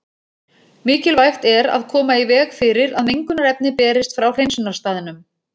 Mikilvægt er að koma í veg fyrir að mengunarefni berist frá hreinsunarstaðnum.